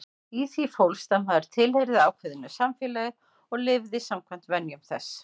Í því fólst að maður tilheyrði ákveðnu samfélagi og lifði samkvæmt venjum þess.